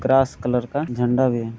Grass colour का झंडा भी है।